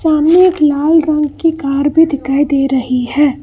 हमें एक लाल रंग की कार भी दिखाई दे रही है।